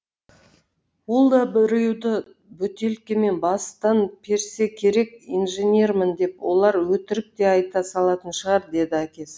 ол да біреуді бөтелкемен бастан персе керек инженермін деп олар өтірік те айта салатын шығар деді әкесі